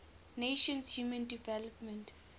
nations human development